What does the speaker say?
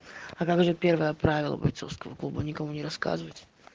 а как же первое правило бойцовского клуба никому не рассказывать